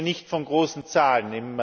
Wir reden hier nicht von großen Zahlen.